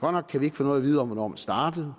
godt nok kan vi ikke få noget at vide om hvornår man startede